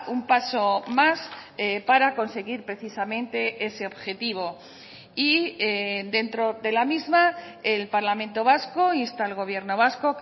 un paso más para conseguir precisamente ese objetivo y dentro de la misma el parlamento vasco insta al gobierno vasco